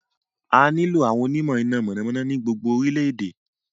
A nílò àwọn onímọ̀ iná mọ̀nàmọ́ná ní gbogbo orílẹ̀-èdè.